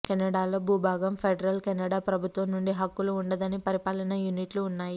Canada లో భూభాగం federal Canada ప్రభుత్వం నుండి హక్కులు ఉండదని పరిపాలనా యూనిట్లు ఉన్నాయి